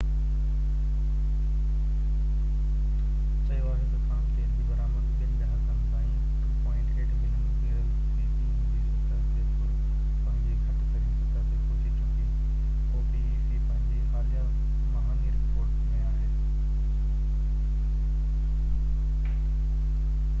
پنهنجي حاليه مهاني رپورٽ ۾ opec چيو آهي ته خام تيل جي برآمد ٻن ڏهاڪن تائين 2.8 ملين بيرل في ڏينهن جي سطح تي پنهنجي گھٽ ترين سطح تي پهچي چڪي آهي